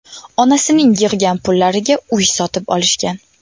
Onasining yig‘gan pullariga uy sotib olishgan.